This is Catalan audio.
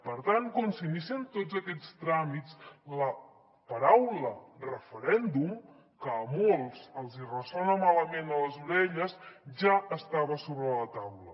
per tant quan s’inicien tots aquests tràmits la paraula referèndum que a molts els ressona malament a les orelles ja estava sobre la taula